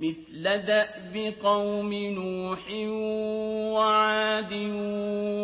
مِثْلَ دَأْبِ قَوْمِ نُوحٍ وَعَادٍ